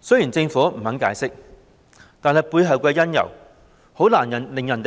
雖然政府不肯解釋，但是背後的原因，很難不令人